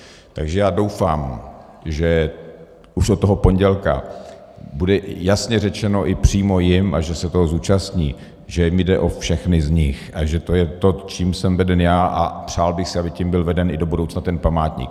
Takže já doufám, že už od toho pondělka bude jasně řečeno i přímo jim, a že se toho zúčastní, že mi jde o všechny z nich a že to je to, čím jsem veden já, a přál bych si, aby tím byl veden i do budoucna ten památník.